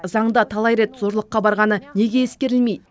заңда талай рет зорлыққа барғаны неге ескерілмейді